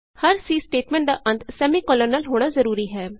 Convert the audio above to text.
ਹਰ C statement ਦਾ ਅੰਤ semicolon ਨਾਲ ਹੋਣਾ ਜਰੂਰੀ ਹੈ